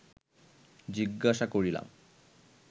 জিজ্ঞাসা করিলাম